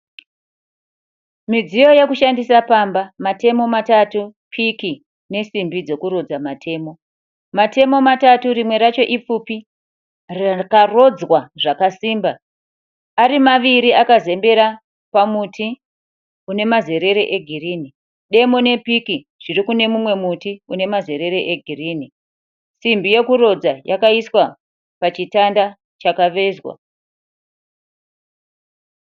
MidzIyo yekushandisa pamba, matemo matatu, piki nesimbi dzokurodza matemo. Matemo matatu rimwe racho ipfupi rakarodzwa zvakasimba arimaviri akazembere pamuti unemazerere egirinhi. Demo nepiki zvirikunemumwe muti unemazerere egirinhi. Simbi yokurodza yakaiswa pachitanda chakavezwa.